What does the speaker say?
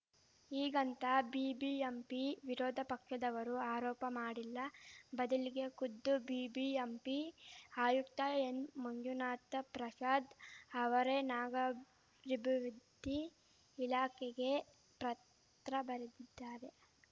ಹೀಗಂತ ಬಿಬಿಎಂಪಿ ವಿರೋಧ ಪಕ್ಷದವರು ಆರೋಪ ಮಾಡಿಲ್ಲ ಬದಲಿಗೆ ಖುದ್ದು ಬಿಬಿಎಂಪಿ ಆಯುಕ್ತ ಎನ್‌ಮಂಜುನಾಥ ಪ್ರಸಾದ್‌ ಅವರೇ ನಾಗಾಭಿವೃದ್ಧಿ ಇಲಾಖೆಗೆ ಪತ್ರ ಬರೆದಿದ್ದಾರೆ